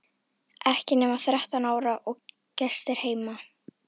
Ekki nema þrettán ára og gestir heima!